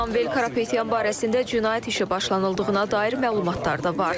Samvel Karapetyan barəsində cinayət işi başlanıldığına dair məlumatlar da var.